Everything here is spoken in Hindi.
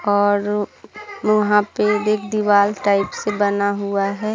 और वहाँ पे एक दीवाल टाइप से बना हुआ है।